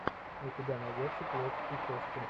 у тебя найдется плоть и кости